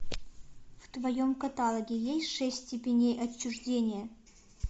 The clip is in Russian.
в твоем каталоге есть шесть степеней отчуждения